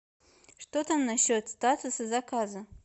что там насчет статуса заказа